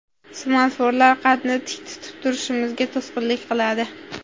Smartfonlar qadni tik tutib turishimizga to‘sqinlik qiladi.